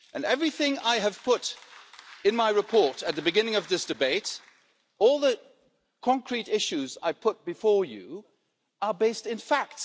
Everything I put in my report at the beginning of this debate, and all the concrete issues I have put before you are based in fact.